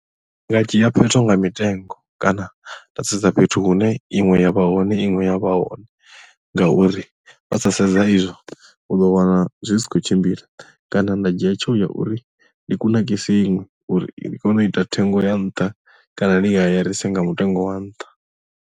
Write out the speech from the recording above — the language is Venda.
Ndi nga dzhia phetho nga mitengo kana nda sedza fhethu hune iṅwe ya vha hone iṅwe ya vha hone ngauri vha sa sedza izwo u ḓo wana zwi sa khou tshimbila kana nda dzhia tsheo ya uri ndi kunakise iṅwe uri i kone u ita thengo ya nṱha kana ndi i hayarise nga mutengo wa nṱha.